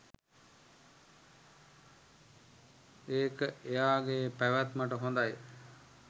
ඒක එයාගේ පැවැත්මට හොඳයි.